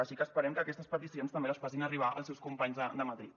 així que esperem que aquestes peticions també les facin arribar als seus companys de madrid